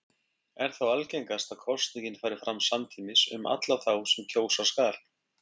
Er þá algengast að kosningin fari fram samtímis um alla þá sem kjósa skal.